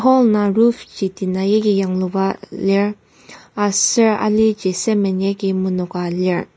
hall indang roof ji tina yagi yangluba lir aser aliji cement agi menoka lir.